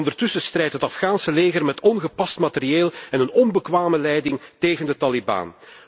Ondertussen strijdt het Afghaanse leger met ongepast materieel en een onbekwame leiding tegen de Taliban.